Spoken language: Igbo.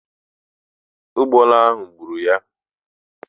Ụgbọala ahụ gburu ya.